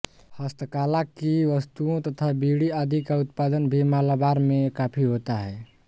हस्तकला की वस्तुओं तथा बीड़ी आदि का उत्पादन भी मालाबार में काफी होता है